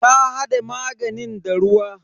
Ta hade maganin da ruwa.